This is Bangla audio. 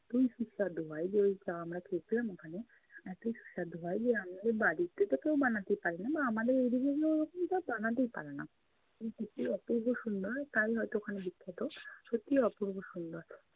এতই সুস্বাদে হয় যে ওই চা আমরা খেয়েছিলাম ওখানে এতই সুস্বাদ হয় যে আমাদের বাড়িতে তো কেউ বানাতেই পারে না বা আমাদের এদিকে কেউ ওরকম চা বানাতেই পারে না। খেতে অপূর্ব সুন্দর হয়, তাই হয়ত ওখানে বিখ্যাত। সত্যিই অপূর্ব সুন্দর